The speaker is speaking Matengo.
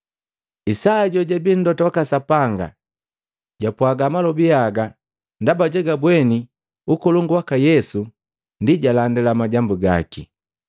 Isaya jojabii mlota waka Sapanga jwapwaga malobi haga ndaba jugubweni ukolongu waka Yesu, ndi jalandila majambu gaki.